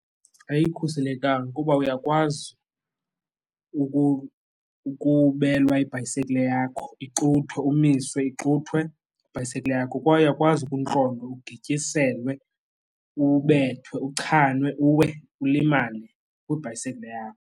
Ayikhuselekanga ukuba uyakwazi ukubelwa ibhayisekile yakho, ixuthwe, umisiwe ixuthwe ibhayisikile yakho kwaye uyakwazi ukuntlontwa ugityiselwe ubethwe, uchanwe, uwe ulimale kwibhayisikile yakho.